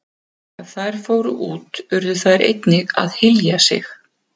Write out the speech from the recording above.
Ef þær fóru út urðu þær að einnig að hylja sig.